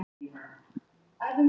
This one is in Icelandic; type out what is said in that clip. Þetta var áfall